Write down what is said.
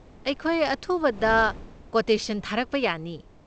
ꯑꯩꯈꯣꯏ ꯑꯊꯨꯕꯗ ꯀꯣꯇꯦꯁꯟ ꯊꯥꯔꯛꯄ ꯌꯥꯅꯤ꯫